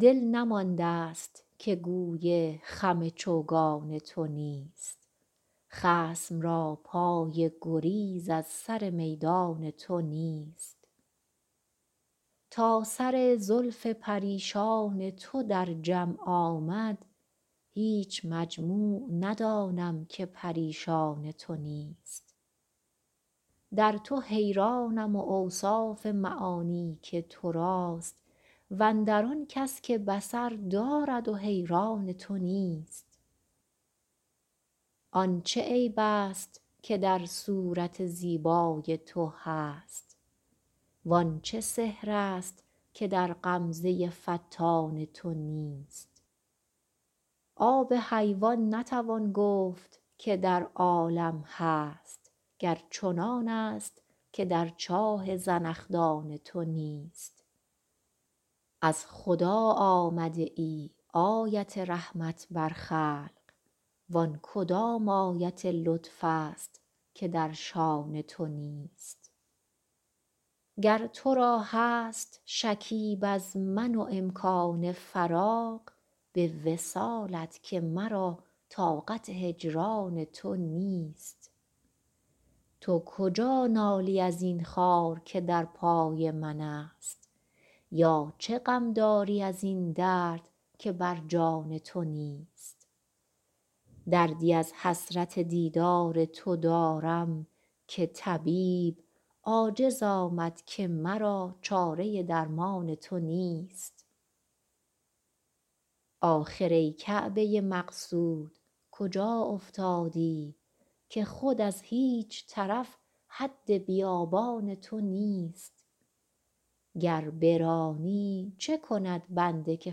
دل نمانده ست که گوی خم چوگان تو نیست خصم را پای گریز از سر میدان تو نیست تا سر زلف پریشان تو در جمع آمد هیچ مجموع ندانم که پریشان تو نیست در تو حیرانم و اوصاف معانی که تو راست و اندر آن کس که بصر دارد و حیران تو نیست آن چه عیب ست که در صورت زیبای تو هست وان چه سحر ست که در غمزه فتان تو نیست آب حیوان نتوان گفت که در عالم هست گر چنانست که در چاه زنخدان تو نیست از خدا آمده ای آیت رحمت بر خلق وان کدام آیت لطف ست که در شأن تو نیست گر تو را هست شکیب از من و امکان فراغ به وصالت که مرا طاقت هجران تو نیست تو کجا نالی از این خار که در پای منست یا چه غم داری از این درد که بر جان تو نیست دردی از حسرت دیدار تو دارم که طبیب عاجز آمد که مرا چاره درمان تو نیست آخر ای کعبه مقصود کجا افتادی که خود از هیچ طرف حد بیابان تو نیست گر برانی چه کند بنده که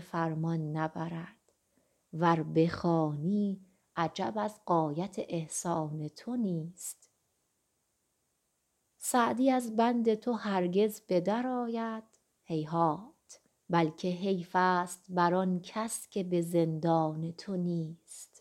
فرمان نبرد ور بخوانی عجب از غایت احسان تو نیست سعدی از بند تو هرگز به درآید هیهات بلکه حیف ست بر آن کس که به زندان تو نیست